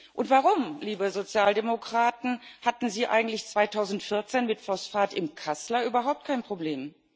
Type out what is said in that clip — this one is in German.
Und warum, liebe Sozialdemokraten, hatten Sie eigentlich 2014 mit Phosphat im Kassler überhaupt kein Problem?